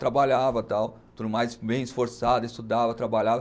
Trabalhava tal, tudo mais, bem esforçada, estudava, trabalhava.